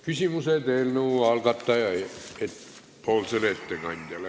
Küsimused eelnõu algatajale.